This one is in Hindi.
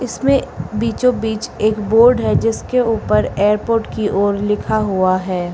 इसमें बीचों बीच एक बोर्ड है जिसके ऊपर एयरपोर्ट की ओर लिखा हुआ है।